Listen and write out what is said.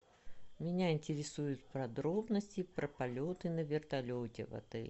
меня интересуют подробности про полеты на вертолете в отеле